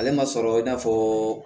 Ale ma sɔrɔ i n'a fɔ